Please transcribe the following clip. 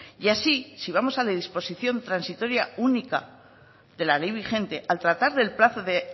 y así si vamos a la disposición transitoria única de la ley vigente al tratar el plazo de